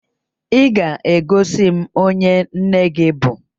Ị ga-egosi m onye nne gị bụ?